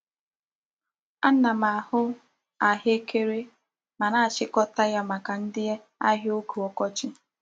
Ana m ahụ ahekere ma na-achịkọta ya maka ndị ahịa oge ọkọchị.